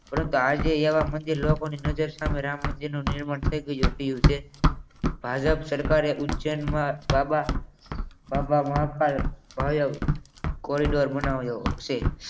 પરંતુ આજે અહીંયા આમ આજે અહીંયા મંદિર લોકોના મંદિર સામે નિર્માણ થઈ રહ્યું છે તો ભાજપ સરકારે ઉજ્જૈનમાં બાબા મહાકાલ બનાવ્યું છે